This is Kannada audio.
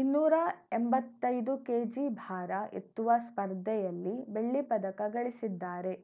ಇನ್ನೂರ ಎಂಬತ್ತೈದು ಕೆಜಿ ಭಾರ ಎತ್ತುವ ಸ್ಪರ್ಧೆಯಲ್ಲಿ ಬೆಳ್ಳಿ ಪದಕಗಳಿಸಿದ್ದಾರೆ